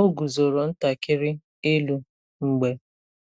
O guzoro ntakịrị elu mgbe